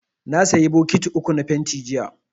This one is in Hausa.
Na sayi bokiti uku na fentin, jiya.